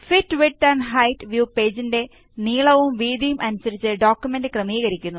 fit width and height view പേജിന്റെ നീളവും വീതിയും അനുസരിച്ച് ഡോക്കുമെന്റ് ക്രമീകരിക്കുന്നു